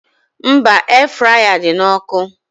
Mba, Air fraya dị na ọkụ